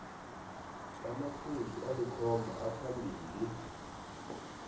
amaphuzu alikhomba aphambili